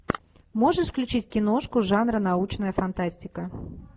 можешь включить киношку жанра научная фантастика